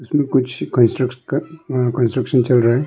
ये कुछ कंस्ट्रक्शन का यहां कंस्ट्रक्शन चल रहा है।